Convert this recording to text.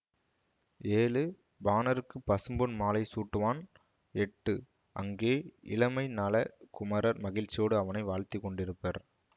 ஏழு பாணர்க்குப் பசும்பொன் மாலை சூட்டுவான் எட்டு அங்கே இளமைநலக் குமரர் மகிழ்ச்சியோடு அவனை வாழ்த்திக் கொண்டிருப்பர்